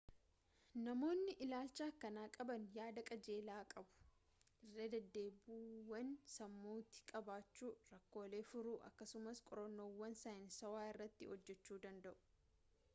namoonni ilaalcha akkanaa qaban yaada qajeelaa qabu irradeddeebiiwwan sammuutti qabachuu rakkoolee furuu akkasumas qorannoowwan saayinsaawaa irratti hojjechuu danda'u